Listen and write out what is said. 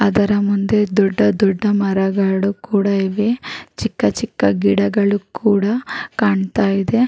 ಅದರ ಮುಂದೆ ದೊಡ್ಡ ದೊಡ್ಡ ಮರಗಳು ಕೂಡ ಇದೆ. ಚಿಕ್ಕ ಚಿಕ್ಕ ಗಿಡಗಳು ಕೂಡ ಕಾಣ್ತಾ ಇದೆ.